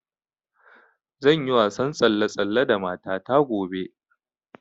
Zan yi wasan tsalle-tsalle da mata ta gobe